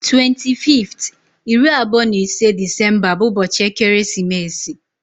25th (iri abụọ na ise) Disemba bu ubochi ekeresimeesi.